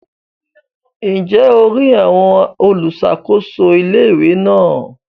Ǹjẹ́ o rí àwọn olùsàkóso ilé-ìwé náà?